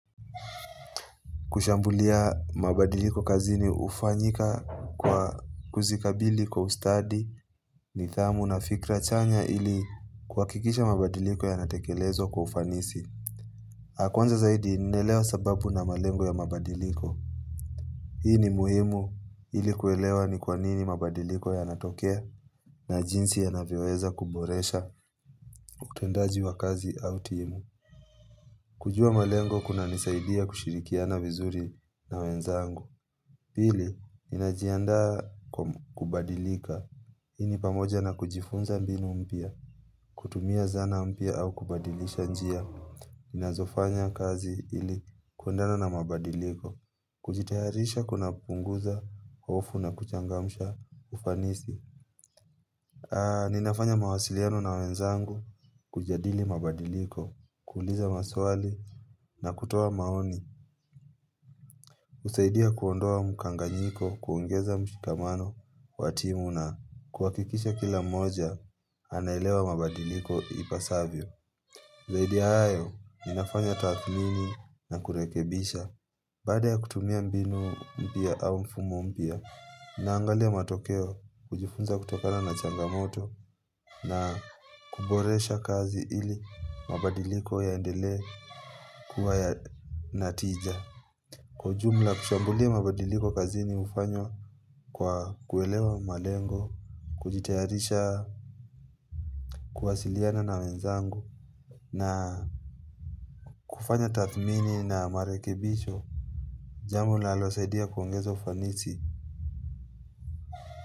Kushambulia mabadiliko kazini hufanyika kwa kuzikabili kwa ustadi, nidhamu na fikra chanya ili kuhakikisha mabadiliko yanatekelezwa kwa ufanisi. Kwanza zaidi ninaelewa sababu na malengo ya mabadiliko. Hii ni muhimu ili kuelewa ni kwa nini mabadiliko yanatokea na jinsi yanavyoweza kuboresha utendaji wa kazi au timu. Kujua malengo kunanisaidia kushirikiana vizuri na wenzangu. Pili, ninajiandaa kwa kubadilika, iii pamoja na kujifunza mbinu mpya, kutumia zana mpya au kubadilisha njia, inazofanya kazi ili kulingana na mabadiliko, kujitayarisha kunapunguza, hofu na kuchangamsha ufanisi. Ninafanya mawasiliano na wenzangu, kujadili mabadiliko, kuuliza maswali na kutoa maoni husaidia kuondoa mkanganyiko, kuongeza mshikamano, wa timu na kuhakikisha kila moja, anaelewa mabadiliko ipasavyo Zaidi ya hayo, ninafanya tathmini na kurekebisha Baada ya kutumia mbinu mpya au mfumo mpya, naangalia matokeo kujifunza kutokana na changamoto na kuboresha kazi ili mabadiliko yaendelee kuwa yana tija. Kwa ujumla kushambulia mabadiliko kazini hufanywa kwa kuelewa malengo, kujitayarisha, kuwasiliana na wenzangu na kufanya tathmini na marekebisho. Jambo linalosaidia kuongeza fanisi.